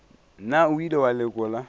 na o ile wa lekola